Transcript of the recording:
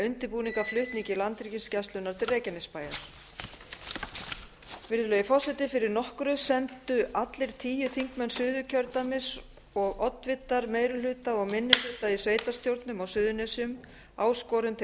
undirbúning að flutningi landhelgisgæslunnar til reykjanesbæjar virðulegi forseti fyrir nokkru sendu allir tíu þingmenn suðurkjördæmis og oddvitar meiri hluta og minni hluta í sveitarstjórnum á suðurnesjum áskorun til